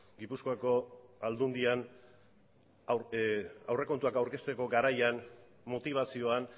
gipuzkoako aldundian aurrekontuak aurkezteko garaian motibazioan